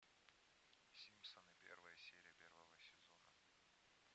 симпсоны первая серия первого сезона